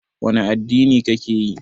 Wani addini ka ke yi?